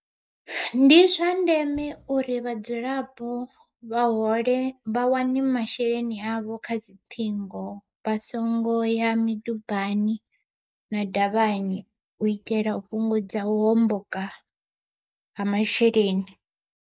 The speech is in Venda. Ndi zwa ndeme uri vhadzulapo vha hole vha wane masheleni avho kha dzi ṱhingo, vha songo ya midubani na davhani u itela u fhungudza u homboka ha masheleni.